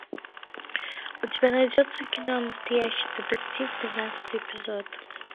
у тебя найдется кино настоящий детектив тринадцатый эпизод